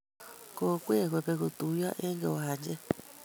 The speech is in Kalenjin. Kokwee kobek kotuyo eng kiwanchee.